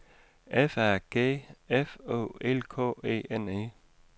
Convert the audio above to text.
F A G F O L K E N E